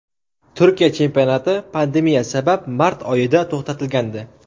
Turkiya chempionati pandemiya sabab mart oyida to‘xtatilgandi.